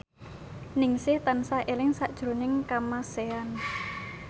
Ningsih tansah eling sakjroning Kamasean